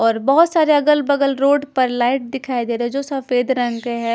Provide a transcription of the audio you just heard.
और बहोत सारे अगल बगल रोड पर लाइट दिखाई दे रहे है जो सफेद रंग के है।